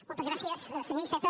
moltes gràcies senyor iceta